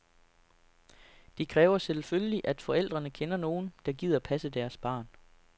Det kræver selvfølgelig, at forældrene kender nogen, der gider passe deres barn.